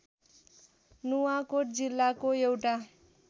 नुवाकोट जिल्लाको एउटा